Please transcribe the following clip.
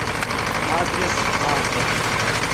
адрес атом